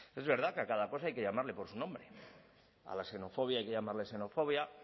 es verdad que a cada cosa hay que llamarle por su nombre a la xenofobia hay que llamarle xenofobia